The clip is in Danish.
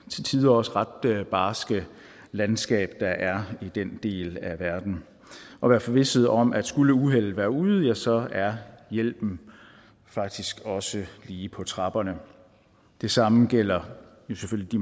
til tider også ret barske landskab der er i den del af verden og være forvisset om at skulle uheldet være ude ja så er hjælpen faktisk også lige på trapperne det samme gælder jo selvfølgelig